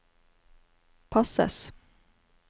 passes